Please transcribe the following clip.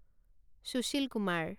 Sushil Kumar